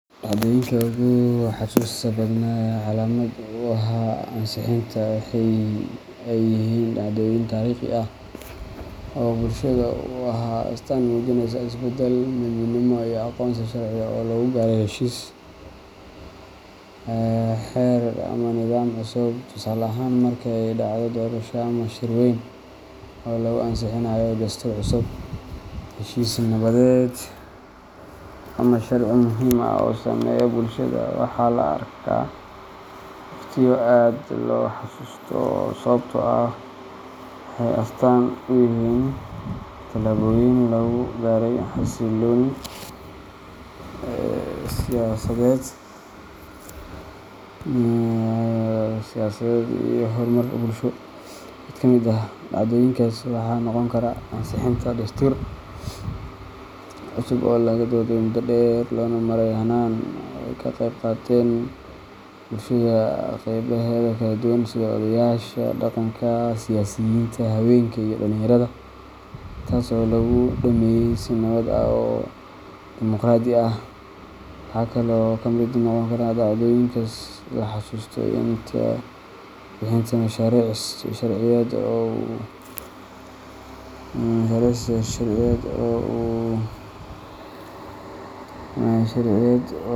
Dhacdoyinka ugu xasuusta badnaa ee calaamad u ahaa ansixinta waxa ay yihiin dhacdooyin taariikhi ah oo bulshada u ahaa astaan muujinaysa isbeddel, midnimo, iyo aqoonsi sharci ah oo lagu gaaray heshiis, xeer ama nidaam cusub. Tusaale ahaan, marka ay dhacdo doorasho ama shir weyn oo lagu ansixinayo dastuur cusub, heshiis nabadeed, ama sharci muhiim ah oo saameeya bulshada, waxaa la arkaa waqtiyo aad loo xasuusto sababtoo ah waxay astaan u yihiin tallaabooyin lagu gaaray xasilooni siyaasadeed iyo horumar bulsho. Mid ka mid ah dhacdooyinkaas waxaa noqon kara ansixinta dastuur cusub oo laga dooday muddo dheer, loona maray hannaan ay ka qayb qaateen bulshada qeybaheeda kala duwan sida odayaasha dhaqanka, siyaasiyiinta, haweenka, iyo dhalinyarada, taas oo lagu dhammeeyay si nabad ah oo dimuqraadi ah. Waxa kale oo ka mid noqon kara dhacdooyinka la xasuusto ansixinta mashaariic sharciyeed oo u.